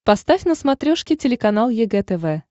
поставь на смотрешке телеканал егэ тв